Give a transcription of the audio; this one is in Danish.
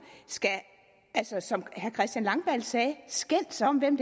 skal som herre christian langballe sagde skændes om hvem